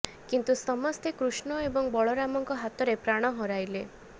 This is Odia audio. କିନ୍ତୁ ସମସ୍ତେ କୃଷ୍ଣ ଏବଂ ବଳରାମଙ୍କ ହାତରେ ପ୍ରାଣ ହରାଇଲେ